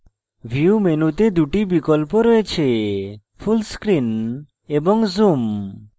view মেনুতে দুটি বিকল্প রয়েছে full screen এবং zoom